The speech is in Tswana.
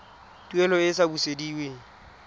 tuelo e e sa busediweng